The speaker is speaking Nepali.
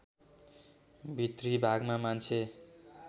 भित्री भागमा मान्छे